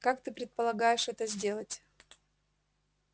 как ты предполагаешь это сделать